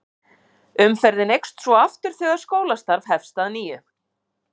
umferðin eykst svo aftur þegar skólastarf hefst að nýju